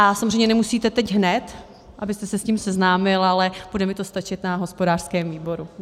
A samozřejmě nemusíte teď hned, abyste se s tím seznámil, ale bude mi to stačit na hospodářském výboru.